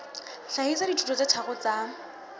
hlahisa dithuto tse tharo tsa